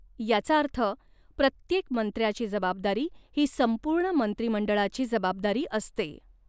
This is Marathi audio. याचा अर्थ प्रत्येक मंत्र्याची जबाबदारी ही संपूर्ण मंत्रीमंडळाची जबाबदारी असते.